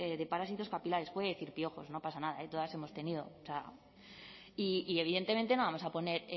de parásitos capilares puede decir piojos no pasa nada todas hemos tenido y evidentemente no vamos a poner